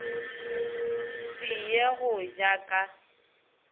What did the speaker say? se ye go ja ka